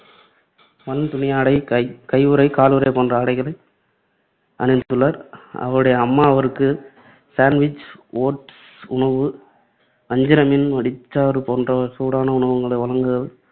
வன்துணியாடை, கை~ கையுறை, காலுறை போன்ற ஆடைகளை அணிந்துள்ளார். அவருடைய அம்மா அவருக்கு, சாண்ட்விச், ஓட்ஸ் உணவு, வஞ்சிரமீன், வடிசாறு போன்ற சூடான உணவு வகைகளை வழங்குதல்